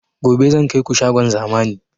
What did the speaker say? Gobe zan kaiku shagon zamani